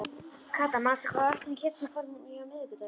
Kata, manstu hvað verslunin hét sem við fórum í á miðvikudaginn?